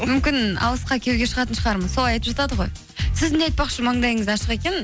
мүмкін алысқа күйеуге шығатын шығармын солай айтып жатады ғой сіздің де айтпақшы маңдайыңыз ашық екен